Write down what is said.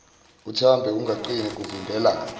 uthambe ungaqini kuvimbela